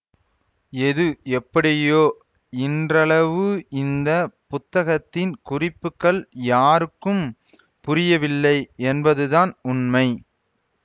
எது எப்படியோ இன்றளவு இந்த புத்தகத்தின் குறிப்புகள் யாருக்கும் புரியவில்லை என்பதுதான் உண்மை